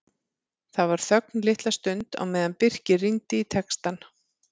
Það var þögn litla stund á meðan Birkir rýndi í textann.